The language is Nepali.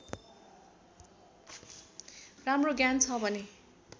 राम्रो ज्ञान छ भने